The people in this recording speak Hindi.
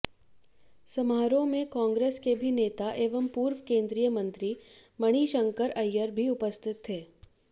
समारोह में कांग्रेस के भी नेता एवं पूर्व केंद्रीय मंत्री मणिशंकर अय्यर भी उपस्थित थे